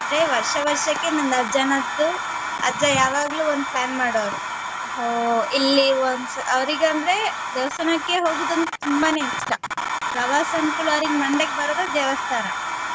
ಬರೆ ವರ್ಷ ವರ್ಷಕ್ಕೆ ನನ್ನ ಅಜ್ಜನದ್ದು ಅಜ್ಜ ಯಾವಾಗ್ಲೂ ಒಂದು plan ಮಾಡೋರು ಹೊ~ ಇಲ್ಲಿ ಒಂದು ಸಲ ಅವರಿಗಂದ್ರೆ ದೇವಸ್ಥಾನಕ್ಕೆ ಹೋಗುದು ಅಂದ್ರೆ ತುಂಬಾನೇ ಇಷ್ಟ ಪ್ರವಾಸ ಅಂದ್ಕೂಡ್ಲೆ ಅವ್ರಿಗ್ ಮಂಡೆಗ ಬರೋದು ದೇವಸ್ಥಾನ.